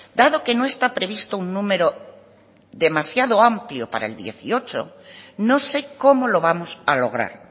dado que no está previsto un número demasiado amplio para el dieciocho no sé cómo lo vamos a lograr